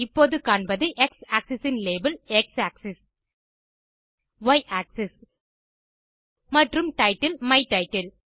இப்போது காண்பது x axis இன் லேபல் எக்ஸ் ஆக்ஸிஸ் ய் ஆக்ஸிஸ் மற்றும் டைட்டில் மை டைட்டில்